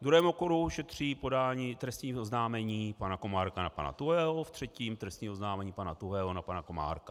V druhém okruhu šetří podání trestního oznámení pana Komárka na pana Tuhého, ve třetím trestní oznámení pana Tuhého na pana Komárka.